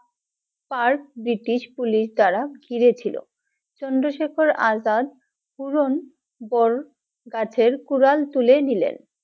Park British Police দ্বারা ঘিরে ছিলো, চন্দ্রশেখর আজাদ বড় গাছের কুড়াল তুলে দিলেন।